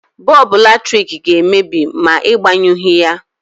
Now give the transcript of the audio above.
Bọlbụ latrik ga-emebi ma Ị gbanyụghị ya.